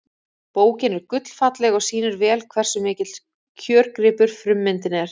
Bókin er gullfalleg og sýnir vel hversu mikill kjörgripur frummyndin er.